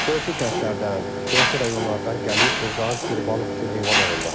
Qonşu kəndlərdən, qonşu rayonlardan gəlib burdan qurbanlıq üçün heyvanlar alırlar.